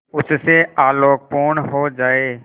उससे आलोकपूर्ण हो जाए